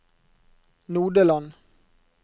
Nodeland